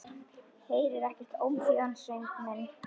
Heyrir ekki ómþýðan söng minn.